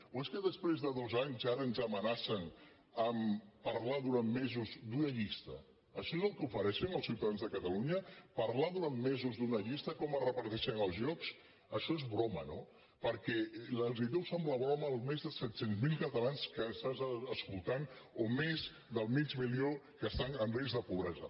o és que després de dos anys ara ens amenacen amb parlar durant mesos d’una llista això és el que ofereixen als ciutadans de catalunya parlar durant mesos d’una llista com es reparteixen els llocs això és broma no perquè els deu semblar broma els més de set cents miler catalans que estan escoltant o els més de mig milió que estan en risc de pobresa